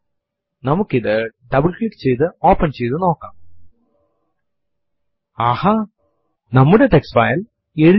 p a s s w ഡ് എന്ന് prompt ൽ ടൈപ്പ് ചെയ്തു എന്റർ അമർത്തുക